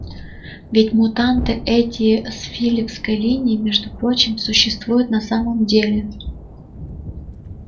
ведь мутанты эти с филёвской линии между прочим существуют на самом деле